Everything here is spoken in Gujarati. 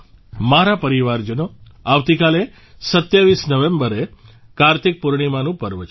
મારા પરિવારજનો આવતીકાલે 27 નવેમ્બરે કાર્તિક પૂર્ણિમાનું પર્વ છે